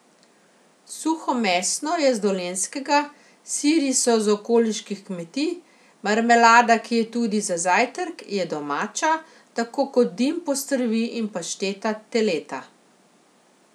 Suhomesno je z Dolenjskega, siri so z okoliških kmetij, marmelada, ki je tudi za zajtrk, je domača, tako kot dim postrvi in pašteta teleta.